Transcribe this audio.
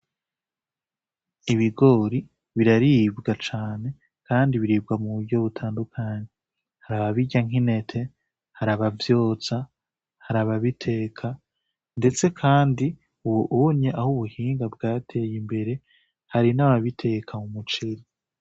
Ibigori biraribwa cane ,Kandi biribwa muburyo butandukanye har'ababirya nk'intete har'abavyotsa har'ababiteka ndetse Kandi ubunye aho ubuhinga bwateye imbere hari n'ababiteka mumuceri.